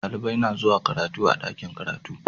Dalibai na zuwa karatu a'dakin karatu.